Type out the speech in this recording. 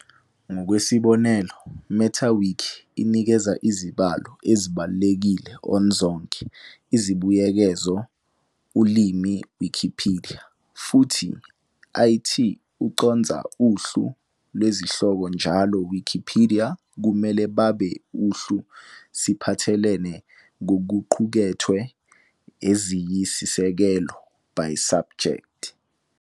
Ngokwesibonelo, Meta-Wiki inikeza izibalo ezibalulekile on zonke izibuyekezo ulimi Wikipedia, futhi it ucondza uhlu lwezihloko njalo Wikipedia kumele babe uhlu siphathelene kokuqukethwe eziyisisekelo by subject-.